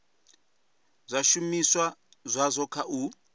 kha zwishumiswa zwazwo kha u